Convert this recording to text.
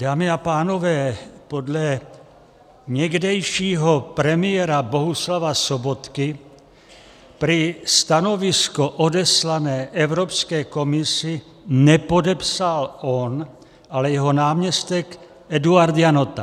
Dámy a pánové, podle někdejšího premiéra Bohuslava Sobotky prý stanovisko odeslané Evropské komisi nepodepsal on, ale jeho náměstek Eduard Janota.